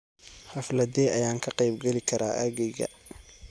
Xafladdee ayaan ka qayb geli karaa aaggayga?